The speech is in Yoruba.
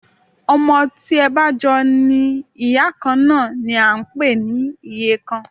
Ọmọ tí ẹ bá jọ ní ìyá kan náà ni à ń pè ní ìyekan